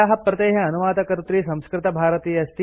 अस्य प्रतेः अनुवादकर्त्री संस्कृतभारती अस्ति